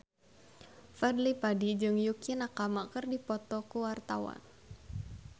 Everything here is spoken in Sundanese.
Fadly Padi jeung Yukie Nakama keur dipoto ku wartawan